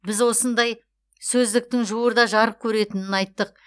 біз осындай сөздіктің жуырда жарық көретінін айттық